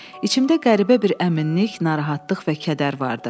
İçimdə qəribə bir əminlik, narahatlıq və kədər vardı.